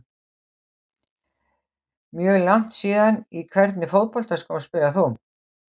Mjög langt síðan Í hvernig fótboltaskóm spilar þú?